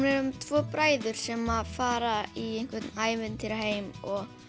um tvo bræður sem að fara í einhvern ævintýraheim og